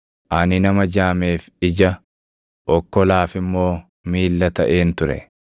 Ani nama jaameef ija, okkolaaf immoo miilla taʼeen ture.